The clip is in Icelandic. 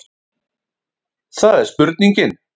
Það er spurningin.